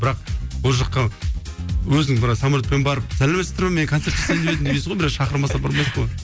бірақ ол жаққа өзің бір самолетпен барып сәлеметсіздер ме мен концерт жасайын деп едім демейсің ғой біреу шақырмаса бармайсың ғой